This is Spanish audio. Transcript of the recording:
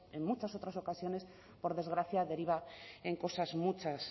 en muchas otras ocasiones por desgracia deriva en cosas